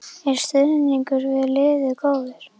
Er stuðningur við liðið góður?